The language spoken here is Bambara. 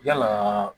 Yalaa